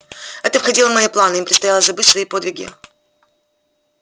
это входило в мои планы им предстояло забыть свои подвиги